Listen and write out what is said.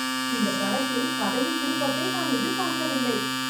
இந்தப் படத்தில் கதையின் திருப்பத்தை நான் எதிர்பார்க்கவில்லை